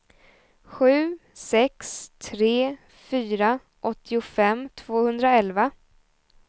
sju sex tre fyra åttiofem tvåhundraelva